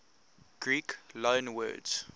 greek loanwords